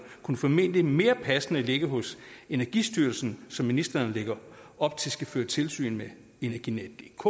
kunne formentlig mere passende ligge hos energistyrelsen som ministeren lægger op til skal føre tilsyn med energinetdk